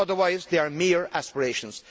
Otherwise, they are mere aspirations.